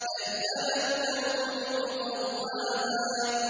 كَذَّبَتْ ثَمُودُ بِطَغْوَاهَا